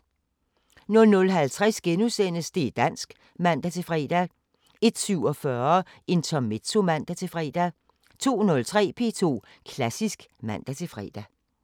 00:50: Det´ dansk *(man-fre) 01:47: Intermezzo (man-fre) 02:03: P2 Klassisk (man-fre)